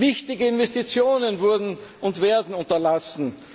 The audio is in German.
Wichtige Investitionen wurden und werden unterlassen.